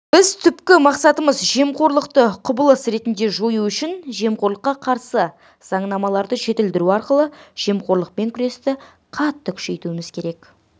біз түпкі мақсатымыз жемқорлықты құбылыс ретінде жою үшін жемқорлыққа қарсы заңнамаларды жетілдіру арқылы жемқорлықпен күресті қатты күшейтуіміз керек